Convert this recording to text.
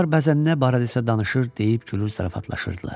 Onlar bəzən nə barədə isə danışır, deyib gülür, zarafatlaşırdılar.